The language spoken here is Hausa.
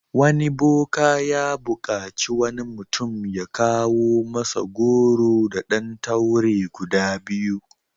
Wani boka ya buƙaci wani mutum ya kawo masa goro da ɗan taure guda biyu.